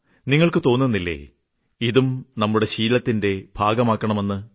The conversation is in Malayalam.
നിങ്ങൾക്ക് തോന്നുന്നില്ലേ ഇതും നമ്മുടെ ശീലത്തിന്റെ ഭാഗമാകണമെന്ന്